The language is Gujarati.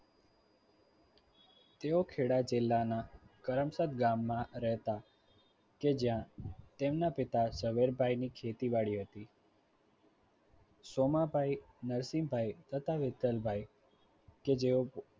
તેઓ ખેડા જિલ્લાના કરમસદ ગામમાં રહેતા કે જ્યાં તેમના પિતા ઝવેરભાઈની ખેતીવાડી હતી. સોમાભાઈ નરસિંહભાઈ તથા વિઠ્ઠલભાઈ કે જેઓ